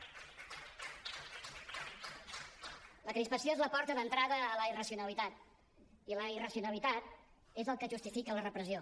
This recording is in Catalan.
la crispació és la porta d’entrada a la irracionalitat i la irracionalitat és el que justifica la repressió